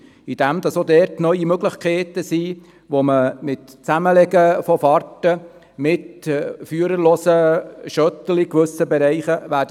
Auch dort gibt es neue Möglichkeiten, indem das Zusammenlegen der Fahrten mit führerlosen Shuttles eine Zukunft haben wird.